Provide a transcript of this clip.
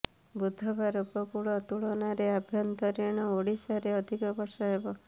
ବୁଧବାର ଉପକୂଳ ତୁଳନାରେ ଆଭ୍ୟନ୍ତରୀଣ ଓଡ଼ିଶାରେ ଅଧିକ ବର୍ଷା ହେବ